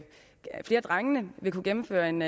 drengene vil kunne gennemføre en